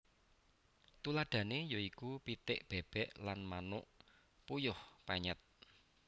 Tuladhané ya iku pitik bèbèk lan manuk puyuh penyèt